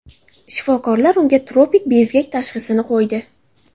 Shifokorlar unga tropik bezgak tashxisini qo‘ydi.